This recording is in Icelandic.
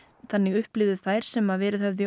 þannig upplifðu þær sem verið höfðu í